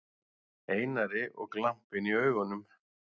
Einari og glampinn í augunum.